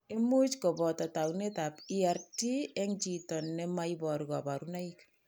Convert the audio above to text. Imuch ko boto taunetab ERT eng' chito ne mo iboru kabarunoik.